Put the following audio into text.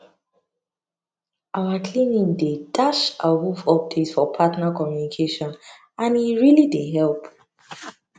our clinic dey dash awoof update for partner communication and e really dey help